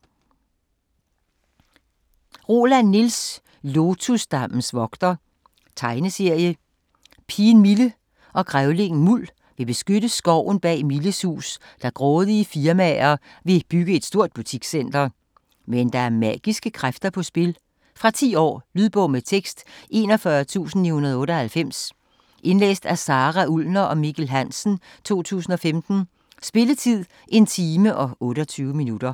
Roland, Niels: Lotusdammens vogter Tegneserie. Pigen Mille og grævlingen Muld vil beskytte skoven bag Milles hus, da grådige firmaer vil bygge et stort butikscenter. Men der er magiske kræfter på spil. Fra 10 år. Lydbog med tekst 41998 Indlæst af Sara Ullner og Mikkel Hansen, 2015. Spilletid: 1 time, 28 minutter.